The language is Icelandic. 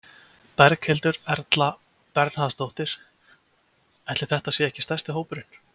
Berghildur Erla Bernharðsdóttir: Ætli þetta sé ekki stærsti hópurinn?